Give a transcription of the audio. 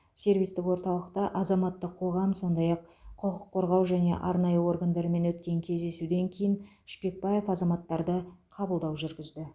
сервистік орталықта азаматтық қоғам сондай ақ құқық қорғау және арнайы органдармен өткен кездесуден кейін шпекбаев азаматтарды қабылдау жүргізді